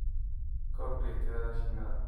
Kordhi tirada shinnida.